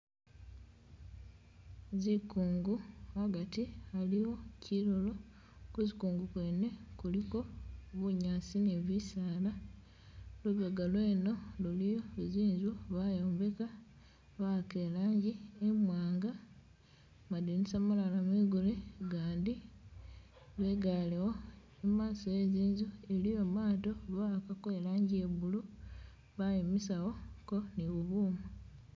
Zikungu hagati haliwo kyinyunyi kuzikungu kwene kuliko bunyasi ni bisaala, lubega lweno luliyo zinzu bayombeka bahaka ilangi imwanga madinisa malala migule gandi bigalewo imaso hezinzu iliwo maato bahakako ilangi ye blue bayimisawo ko ni bubuma